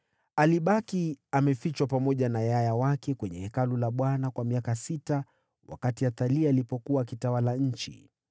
Alibaki amefichwa pamoja na yaya wake katika Hekalu la Bwana kwa muda wa miaka sita wakati Athalia alikuwa akitawala nchi.